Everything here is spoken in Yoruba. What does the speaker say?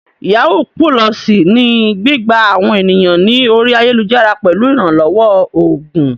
Yàwúú pulọọ̀sì ni gbígbá àwọn ènìyàn ní orí ayélujára pẹ̀lú ìrànlọ́wọ́ oògùn.